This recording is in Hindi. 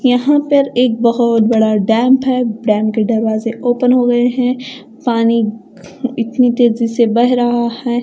यहा पर एक बहोत बड़ा डेम्प है डेम्प के दरवाजे ओपन होगये है पाणी इतनी तेजी से बह रहा है।